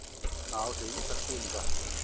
Það á sér ýmsar skýringar.